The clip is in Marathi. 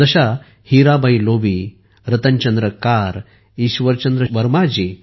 जशा हिराबाई लोबी रतन चंद्र कार आणि ईश्वरचंद्र वर्मा जी